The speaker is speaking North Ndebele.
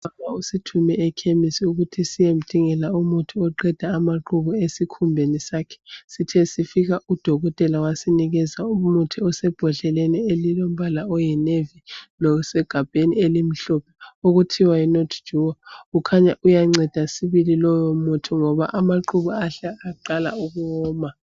Ubaba usithume ekhemisi ukuthi siyemdingela umuthi oqeda amaqubu esikhumbeni sakhe. Sithe sifika udokotela wasinikeza umuthi osebhodleleni elilombala oyi"navy" losegabheni elimhlophe okuthiwa yi"Notre Duo".Kukhanya uyanceda sibili lowo muthi ngoba amaqubu ahle aqala ukuwoma.